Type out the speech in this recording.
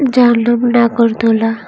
যার নাম নাগরদোলা।